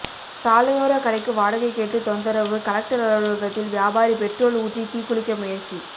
சாலையோர கடைக்கு வாடகை கேட்டு தொந்தரவு கலெக்டர் அலுவலகத்தில் வியாபாரி ெபட்ரோல் ஊற்றி தீக்குளிக்க முயற்சி